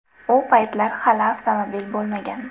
U paytlar hali avtomobil bo‘lmagan.